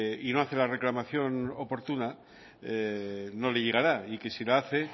y no hace la reclamación oportuna no le llegará y que si la hace